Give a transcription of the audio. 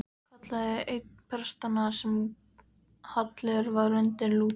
kallaði einn prestanna sem hallur var undir Lúter.